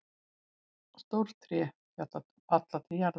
Stór tré falla til jarðar.